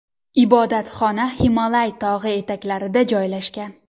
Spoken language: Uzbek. Ibodatxona Himolay tog‘i etaklarida joylashgan.